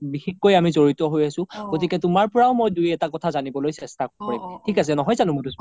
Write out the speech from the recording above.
বিশেষকৈ আমি যৰিত হৈ আছো গতিকে তুমাৰ পৰাও মই দুই এটা কথা জানিবলৈ চেষ্টা কৰিম নহয় জানো মাধুস্মিতা